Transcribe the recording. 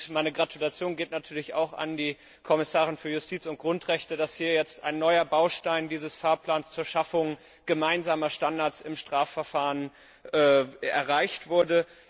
Meine Gratulation geht natürlich auch an die Kommissarin für Justiz und Grundrechte, dass hier jetzt ein neuer Baustein dieses Fahrplans zur Schaffung gemeinsamer Standards im Strafverfahren erreicht wurde.